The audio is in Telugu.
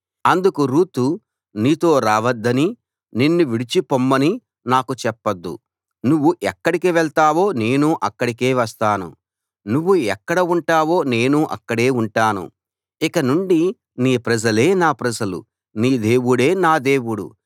అందుకు రూతు నీతో రావద్దనీ నిన్ను విడిచిపొమ్మనీ నాకు చెప్పొద్దు నువ్వు ఎక్కడికి వెళ్తావో నేనూ అక్కడికే వస్తాను నువ్వు ఎక్కడ ఉంటావో నేనూ అక్కడే ఉంటాను ఇకనుండి నీ ప్రజలే నా ప్రజలు నీ దేవుడే నా దేవుడు